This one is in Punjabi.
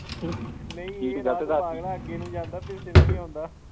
ਨਹੀਂ ਇਹ ਰਾਹ ਤਾਂ ਪਾਗਲਾ ਅੱਗੇ ਨੂੰ ਜਾਂਦਾਂ ਪਿੱਛੇ ਨੂੰ ਨੀ ਆਉਂਦਾ।